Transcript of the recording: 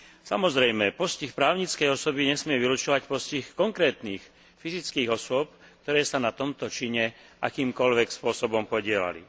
Samozrejme, postih právnickej osoby nesmie vylučovať postih konkrétnych fyzických osôb, ktoré sa na tomto čine akýmkoľvek spôsobom podieľali.